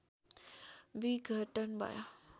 विघटन भयो